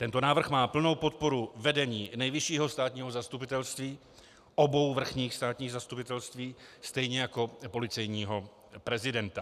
Tento návrh má plnou podporu vedení Nejvyššího státního zastupitelství, obou vrchních státních zastupitelství, stejně jako policejního prezidenta.